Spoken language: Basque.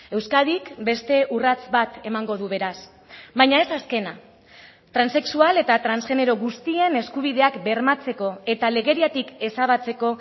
euskadik beste urrats bat emango du beraz baina ez azkena transexual eta transgenero guztien eskubideak bermatzeko eta legediatik ezabatzeko